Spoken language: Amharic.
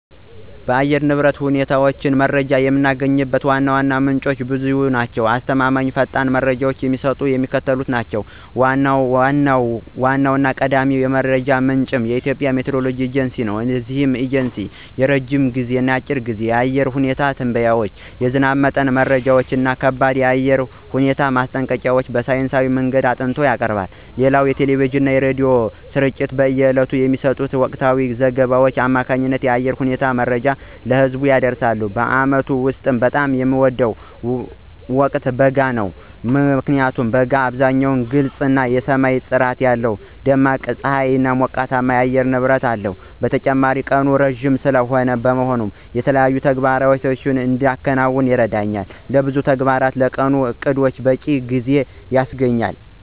የአየር ንብረት ሁኔታ መረጃን የምናገኝባቸው ዋና ዋና ምንጮች ብዙ ሲሆኑ፣ አስተማማኝ እና ፈጣን መረጃ የሚሰጡት የሚከተሉት ናቸው ዋናውና ቀዳሚው የመረጃ ምንጭ የሀገራችን የኢትዮጵያ ብሔራዊ የሚቲዎሮሎጂ ኤጀንሲ ነው። እነዚህ ኤጀንሲዎች የረጅም እና የአጭር ጊዜ የአየር ሁኔታ ትንበያዎችን፣ የዝናብ መጠን መረጃዎችን እና ከባድ የአየር ሁኔታ ማስጠንቀቂያዎችን በሳይንሳዊ መንገድ አጥንተው ያቀርባሉ። ሌላው የቴሌቪዥን ጣቢያዎችና የሬዲዮ ስርጭቶች በየዕለቱ በሚሰጡት ወቅታዊ ዘገባዎች አማካኝነት የአየር ሁኔታ መረጃን ለህዝብ ያደርሳሉ። በዓመቱ ውስጥ በጣም የምወደው ወቅት በጋ ነው። ምክንያቱም በጋ በአብዛኛው ግልጽ የሆነ ሰማይ፣ ደማቅ ፀሐይና ሞቃታማ የአየር ንብረት አለው። በተጨማሪም ቀኑ ረዘም ያለ በመሆኑና ፀሐይ ዘግይታ ስለምትጠልቅ፣ ለብዙ ተግባራትና ለቀኑ ዕቅዶች በቂ ጊዜ ይገኛል።